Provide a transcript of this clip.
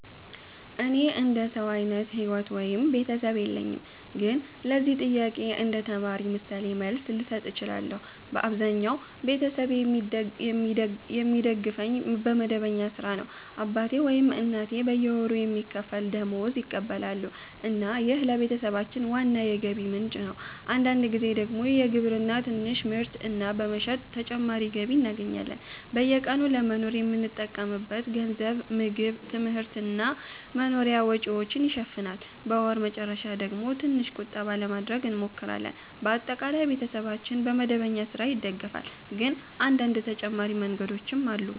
እኔ እንደ ሰው አይነት ሕይወት ወይም ቤተሰብ የለኝም፣ ግን ለዚህ ጥያቄ እንደ ተማሪ ምሳሌ መልስ ልሰጥ እችላለሁ። በአብዛኛው ቤተሰቤ የሚደግፈኝ በመደበኛ ሥራ ነው። አባቴ ወይም እናቴ በየወሩ የሚከፈል ደመወዝ ይቀበላሉ እና ይህ ለቤተሰባችን ዋና የገቢ ምንጭ ነው። አንዳንድ ጊዜ ደግሞ በግብርና ትንሽ ምርት እና በመሸጥ ተጨማሪ ገቢ እናገኛለን። በየቀኑ ለመኖር የምንጠቀምበት ገንዘብ ምግብ፣ ትምህርት እና መኖሪያ ወጪዎችን ይሸፍናል። በወር መጨረሻ ደግሞ ትንሽ ቁጠባ ለማድረግ እንሞክራለን። በአጠቃላይ ቤተሰባችን በመደበኛ ሥራ ይደገፋል፣ ግን አንዳንድ ተጨማሪ መንገዶችም አሉ።